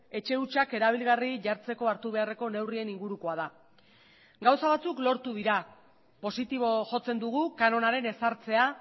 etxe hutsak erabilgarri jartzeko hartu beharreko neurrien ingurukoa da gauza batzuk lortu dira positibo jotzen dugu kanonaren ezartzea